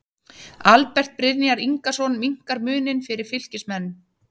ALBERT BRYNJAR INGASON MINNKAR MUNINN FYRIR FYLKISMENN!!